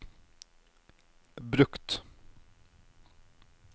brukt